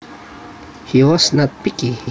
He was not picky